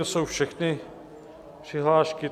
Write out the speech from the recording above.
To jsou všechny přihlášky.